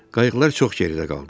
Qayıqlar çox geridə qaldı.